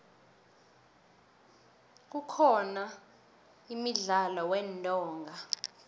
kukhona imdlalo weentonga